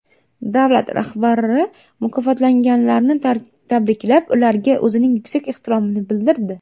Davlat rahbari mukofotlanganlarni tabriklab, ularga o‘zining yuksak ehtiromini bildirdi.